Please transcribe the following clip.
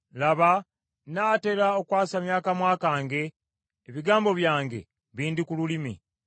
Laba nnaatera okwasamya akamwa kange, ebigambo byange bindi ku lulimi.